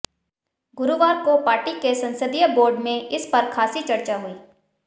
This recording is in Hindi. गुरुवार को पार्टी के संसदीय बोर्ड में इस पर खासी चर्चा हुई